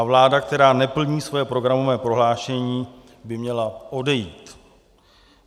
A vláda, která neplní svoje programové prohlášení, by měla odejít.